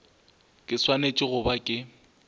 ke swanetše go ba ke